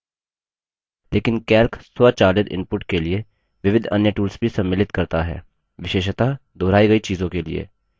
लेकिन calc स्वचालित input के लिए विविध अन्य tools भी सम्मिलित करता है विशेषतः दोहराई गई चीजों के लिए